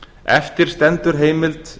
eftir stendur heimild